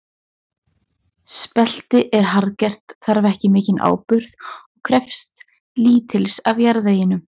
Spelti er harðgert, þarf ekki mikinn áburð og krefst lítils af jarðveginum.